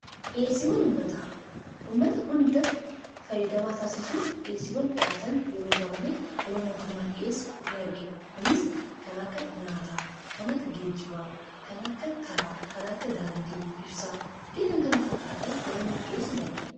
dhiyeessiiiwwan uummataa, uummata hunda fayyadamaa taasisuuf dhieesiwwan dhihaatan yeroo baayyee yeroo mootummaan dhiyessu in argina kunis kan akka nyaataa kan akka geejibaa kan akka karaa kan akka daandii ibsaa fi kan kana fakkaatan yeroo inni dhiyessu in argina.